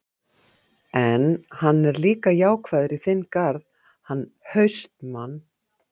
En, hann er líka jákvæður í þinn garð, hann HAustmann.